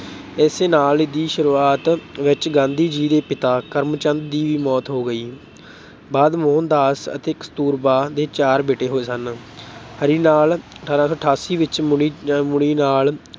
ਇਸੇ ਸਾਲ ਦੀ ਸ਼ੁਰੂਆਤ ਵਿੱਚ ਗਾਂਧੀ ਜੀ ਦੇ ਪਿਤਾ ਕਰਮਚੰਦ ਦੀ ਵੀ ਮੌਤ ਹੋ ਗਈ। ਬਾਅਦ ਮੋਹਨਦਾਸ ਅਤੇ ਕਸਤੂਰਬਾ ਦੇ ਚਾਰ ਬੇਟੇ ਹੋਏ ਸਨ। ਹਰੀ ਲਾਲ ਅਠਾਰਾਂ ਸੌ ਅਠਾਸੀ ਵਿੱਚ, ਮੁਨੀ ਅਹ ਮੁਨੀ ਲਾਲ